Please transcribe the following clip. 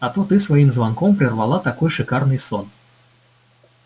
а то ты своим звонком прервала такой шикарный сон